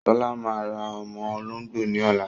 Ṣọlá máa ra ọmọ olóngbò ní ọ̀la.